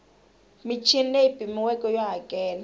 michini leyi pimiweke yo hakela